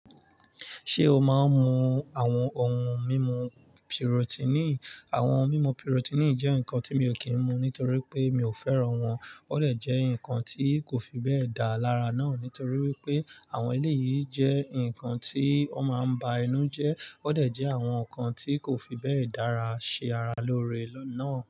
Ṣé o máa ń mu àwọn ohun mímu Pirotíní? Àwọn mímu Pirotíní jẹ́ nǹkan tí mi ò kí ń mu nítorí pé mi ò fẹ́ràn wọn. Ó lè jẹ́ ǹkan tí kò fi bẹ́ẹ̀ dá lára náà, nítorí wípé àwọn eléyìí jẹ́ ǹkan tí wọ́n máa ń ba inú jẹ́. Ó dè jẹ́ àwọn ǹkan tí kò fi bẹ́ẹ̀ dára ṣe ara lóore náà.